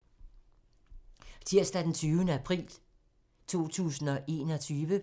Tirsdag d. 20. april 2021